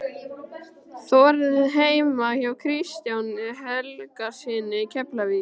Þórð heima hjá Kristjáni Helgasyni í Keflavík.